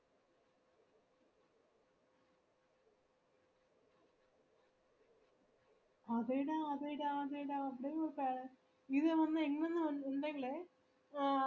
അതേടാ അതേടാ അതേടാ അത് അത് entry fees ഇച്ചിരി കൂടുതൽ ആണെടാ two thirty ആണ് entry fees കേട്ടാ